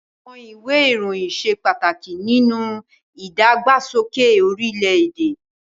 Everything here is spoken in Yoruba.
Àwọn ìwé ìròyìn ṣe pàtàkì nínú ìdàgbàsókè orílẹ̀-èdè.